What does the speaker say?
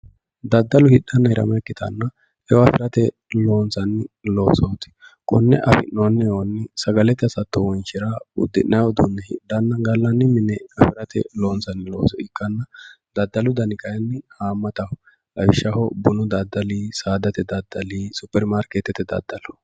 Daddalu hidhanna hirama ikkittanna eo afirate loonsanni loosoti kone affi'nonni eoni sagalete hasatto wonshira uddi'nanni uduune hidhanna gallanni mine gallate loonsanni looso ikkanna daddalu dani kayinni hamattaho lawishshaho bunu daddalli saadate daddali, superimaarketete daddalo.